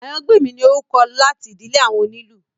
Àyàngbèmí ni orúkọ láti ìdílé àwọn onílù